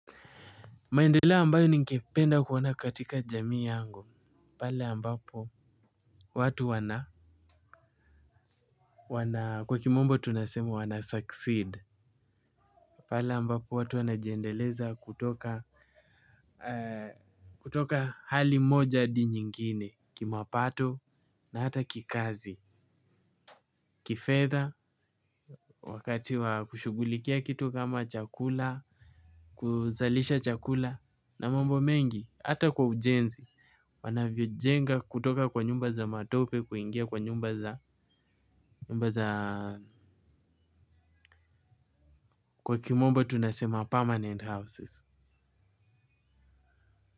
Maendeleo ambayo ningependa kuona katika jamii yangu. Pale ambapo watu wana, kwa kimombo tunasema wana succeed. Pale ambapo watu wana jiendeleza kutoka, kutoka hali moja hadi nyingine, kimapato na hata kikazi. Kifedha, wakati wa kushughulikia kitu kama chakula, kuzalisha chakula, na mambo mengi, hata kwa ujenzi. Wanavyo jenga kutoka kwa nyumba za matope kuingia kwa nyumba za kwa kimombo tunasema permanent houses.